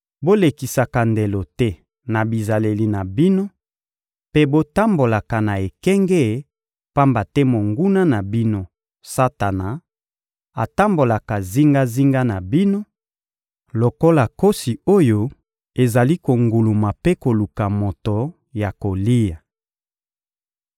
Bolekisaka ndelo te na bizaleli na bino mpe botambolaka na ekenge, pamba te monguna na bino, Satana, atambolaka zingazinga na bino lokola nkosi oyo ezali konguluma mpe koluka moto ya kolia.